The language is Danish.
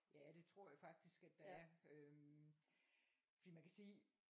Ja det tror jeg faktisk at der er øhm. Fordi man kan sige